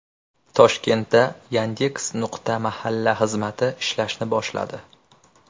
Toshkentda Yandex.Mahalla xizmati ishlashni boshladi.